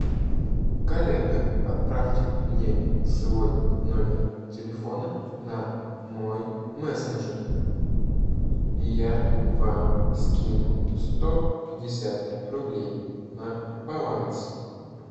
коллега отправьте мне свой номер телефона на мой мессенджер и я вам скину сто пятьдесят рублей на баланс